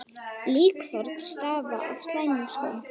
Líkþorn stafa af slæmum skóm.